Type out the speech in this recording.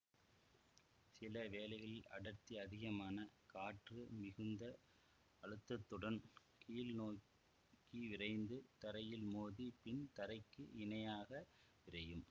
சில வேளைகளில் அடர்த்தி அதிகமான காற்று மிகுந்த அழுத்தத்துடன் கீழ்நோக்கிவிரைந்து தரையில் மோதி பின் தரைக்கு இணையாக விரையும்